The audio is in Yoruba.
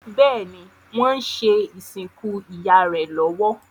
Béèni wón ṣe ìsìnkú ìyá rẹ lówó.